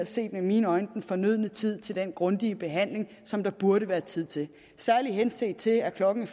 set med mine øjne den fornødne tid til den grundige behandling som der burde være tid til særligt henset til at klokken